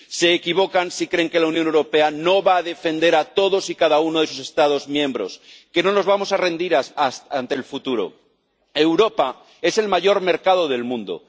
Se equivocan si creen que la Unión Europea no va a defender a todos y cada uno de sus Estados miembros, que no nos vamos a rendir ante el futuro. Europa es el mayor mercado del mundo.